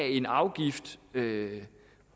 en afgift kan